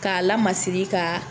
Ka lamasiri ka